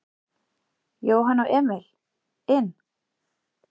Jóhann og Emil inn?